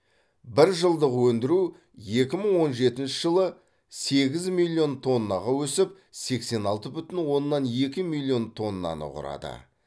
бір жылдық өндіру екі мың он жетінші жылы сегіз миллион тоннаға өсіп сексен алты бүтін оннан екі миллион тоннаны құрады